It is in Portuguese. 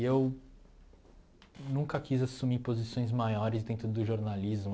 E eu nunca quis assumir posições maiores dentro do jornalismo.